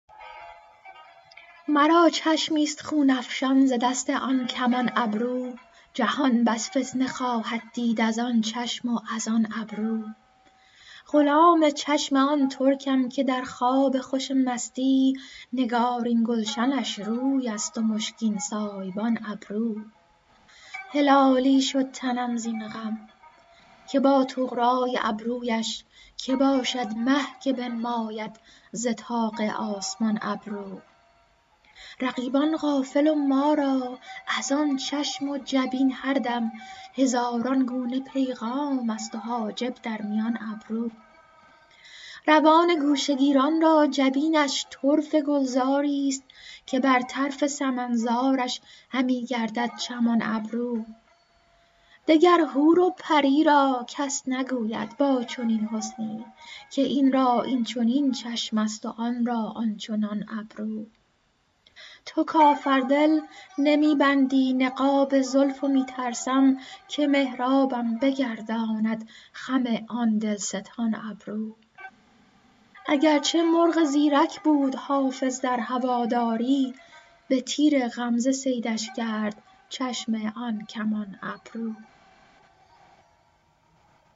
مرا چشمی ست خون افشان ز دست آن کمان ابرو جهان بس فتنه خواهد دید از آن چشم و از آن ابرو غلام چشم آن ترکم که در خواب خوش مستی نگارین گلشنش روی است و مشکین سایبان ابرو هلالی شد تنم زین غم که با طغرا ی ابرو یش که باشد مه که بنماید ز طاق آسمان ابرو رقیبان غافل و ما را از آن چشم و جبین هر دم هزاران گونه پیغام است و حاجب در میان ابرو روان گوشه گیران را جبینش طرفه گلزار ی ست که بر طرف سمن زارش همی گردد چمان ابرو دگر حور و پری را کس نگوید با چنین حسنی که این را این چنین چشم است و آن را آن چنان ابرو تو کافر دل نمی بندی نقاب زلف و می ترسم که محرابم بگرداند خم آن دل ستان ابرو اگر چه مرغ زیرک بود حافظ در هوادار ی به تیر غمزه صیدش کرد چشم آن کمان ابرو